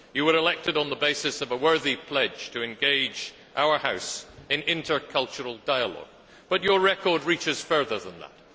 You were elected on the basis of a worthy pledge to engage our House in intercultural dialogue but your record reaches further than that.